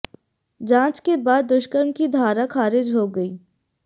जांच के बाद दुष्कर्म की धारा खारिज हो गई